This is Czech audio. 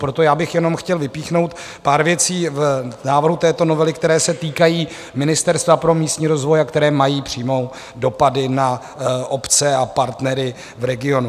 Proto já bych jenom chtěl vypíchnout pár věcí v návrhu této novely, které se týkají Ministerstva pro místní rozvoj a které mají přímé dopady na obce a partnery v regionu.